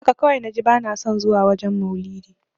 Haka kawai naji bana son zuwa wajen maulidi.